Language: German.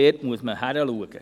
Dort muss man hinschauen.